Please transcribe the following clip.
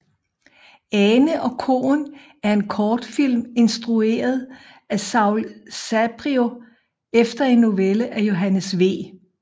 Ane og koen er en kortfilm instrueret af Saul Shapiro efter en novelle af Johannes V